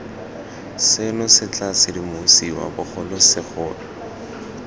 seno se tla sedimosiwa bogolosegolo